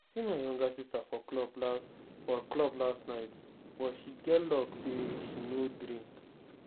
i see my younger sister for club last for club last night but she get luck say she no drink